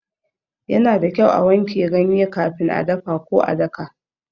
Yana da kyau a wanke ganye kafin a dafa ko a daka.